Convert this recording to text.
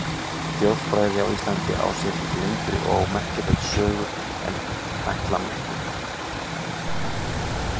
Þjóðfræði á Íslandi á sér lengri og merkari sögu en ætla mætti.